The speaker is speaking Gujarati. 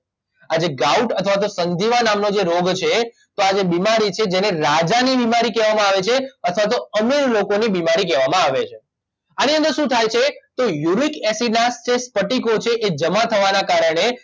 આ જે ગાઉટ અથવા તો સંધિવા નામનો જે રોગ છે તો આ જે બિમારી છે જેને રાજાની બિમારી કહેવામાં આવે છે અથવા તો અમીર લોકોની બિમારી કહેવામાં આવે છે આની અંદર શું થાય છે કે યુરિક એસિડ ના જે સ્ફટિકો છે એ જમા થવાના કારણે